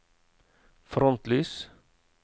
frontlys